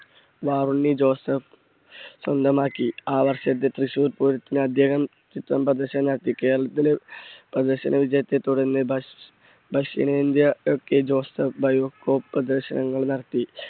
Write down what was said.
Joseph സ്വന്തമാക്കി. ആ വർഷത്തെ തൃശൂർ പൂരത്തിന് അദ്ദേഹം ചിത്രം പ്രദർശനം നടത്തി. കേരളത്തിലെ പ്രദർശന വിജയത്തെ തുടർന്ന് ദക്ഷ്~ദക്ഷണേന്ത്യ ഒക്കെ ജോസഫ് പ്രദർശനങ്ങൾ നടത്തി.